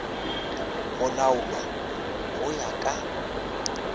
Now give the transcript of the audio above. go laolwa go ya ka